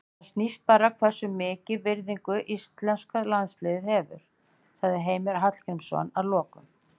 Það sýnir bara hversu mikla virðingu íslenska landsliðið hefur, segir Heimir Hallgrímsson að lokum.